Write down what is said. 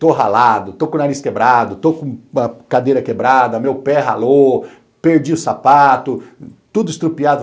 Estou ralado, estou com o nariz quebrado, estou com a cadeira quebrada, meu pé ralou, perdi o sapato, tudo estropiado.